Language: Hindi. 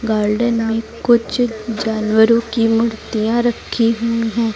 गार्डन में कुछ जानवरों की मूर्तियां रखी हुई हैं।